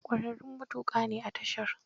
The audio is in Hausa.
Ƙwararrun matuƙa ne a tashar.